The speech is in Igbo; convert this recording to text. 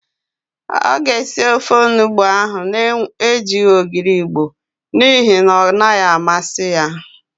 Ọ ga-esi ofe onugbo ahụ na-ejighi ogiri Igbo n'ihi na ọ naghị amasị ya.